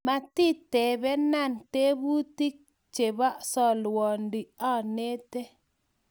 matitebena tebutik chebo solwondi anete